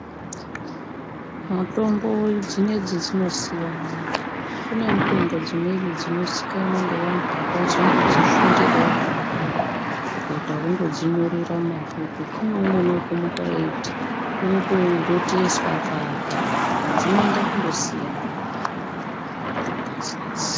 Mutombo dzinodzi dzinosiyana. Kune mutombo dzimweni dzinozikanwa ngevantu vakazondodzifundirawo havo, kutoita wokundodzinyorera mumabhuku. Kune umweni wekumuka eiti unotoroteswa akaata. Saka dzinoenda kundosiyana mitombo dzinedzi.